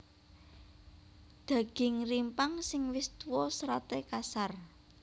Daging rimpang sing wis tuwa seraté kasar